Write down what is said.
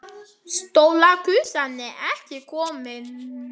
Stóra gusan er ekki komin.